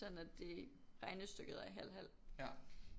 Sådan at det regnestykket er halv halv